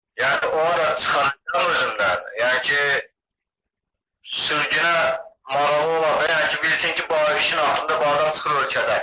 Yəni o da çıxacaq özündən, yəni ki, sürgünə marağı olacaq deyə yəni ki, bilsin ki, bu ay işin axırında bağdan çıxır ölkədən.